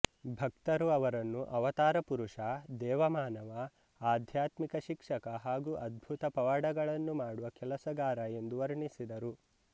ಭಕ್ತರು ಅವರನ್ನು ಅವತಾರ ಪುರುಷ ದೇವ ಮಾನವ ಆಧ್ಯಾತ್ಮಿಕ ಶಿಕ್ಷಕ ಹಾಗು ಅದ್ಭುತ ಪವಾಡಗಳನ್ನು ಮಾಡುವ ಕೆಲಸಗಾರ ಎಂದು ವರ್ಣಿಸಿದರು